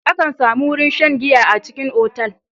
Akan samu wurin shan giya a cikin otal.